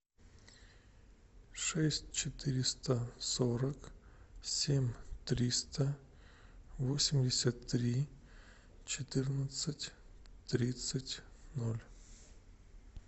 шесть четыреста сорок семь триста восемьдесят три четырнадцать тридцать ноль